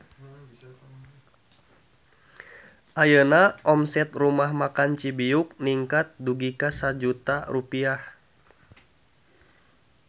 Ayeuna omset Rumah Makan Cibiuk ningkat dugi ka 1 juta rupiah